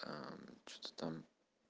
что-то там